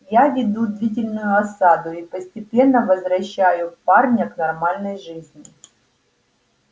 я веду длительную осаду и постепенно возвращаю парня к нормальной жизни